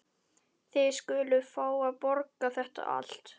Þið skuluð fá að borga þetta allt.